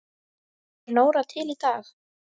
Er Nóra til í dag?